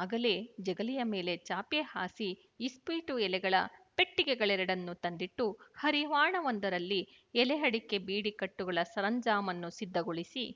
ಆಗಲೇ ಜಗಲಿಯ ಮೇಲೆ ಚಾಪೆ ಹಾಸಿ ಇಸ್ಪೀಟು ಎಲೆಗಳ ಪೆಟ್ಟಿಗೆಗಳೆರಡನ್ನು ತಂದಿಟ್ಟು ಹರಿವಾಣವೊಂದರಲ್ಲಿ ಎಲೆ ಅಡಿಕೆ ಬೀಡಿ ಕಟ್ಟುಗಳ ಸರಂಜಾಮನ್ನು ಸಿದ್ಧಗೊಳಿಸಿ